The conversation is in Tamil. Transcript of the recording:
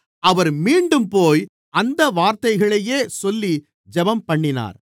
அவர் மீண்டும்போய் அந்த வார்த்தைகளையே சொல்லி ஜெபம்பண்ணினார்